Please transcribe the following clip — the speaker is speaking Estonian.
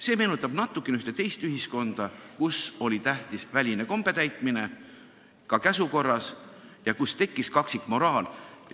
See meenutab natukene ühte teist ühiskonda, kus oli tähtis väline kombetäitmine, ka käsu korras, ja kus tekkis kaksikmoraal.